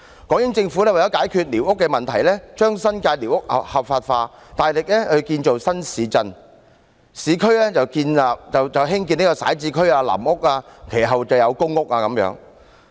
港英政府為了解決寮屋問題，將新界寮屋合法化，大力建造新市鎮，市區則興建徙置區、臨屋，其後有公屋。